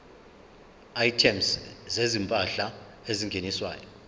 items zezimpahla ezingeniswayo